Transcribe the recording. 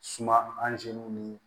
Suma anzini ni